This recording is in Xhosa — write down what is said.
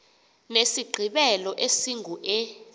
nesigqibelo esingu e